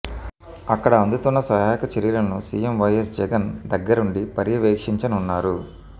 అక్కడ అందుతున్న సహాయక చర్యలను సీఎం వైఎస్ జగన్ దగ్గరుండి పర్యవేక్షించనున్నారు